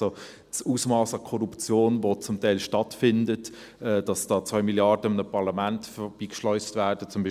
Das Ausmass an Korruption, das zum Teil stattfindet, dass da zum Beispiel in Mosambik 2 Milliarden an einem Parlament vorbeigeschleust werden,